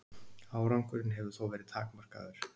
Árangurinn hefur þó verið takmarkaður.